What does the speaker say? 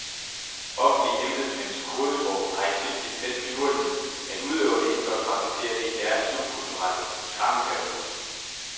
Offentlige embedsmænds kodesprog har i tilgift den finurlighed, at udøverne ikke blot praktiserer det i deres subkulturelle skrankepaveklub.